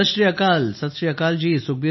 सत श्री अकाल जी सत श्री अकाल जी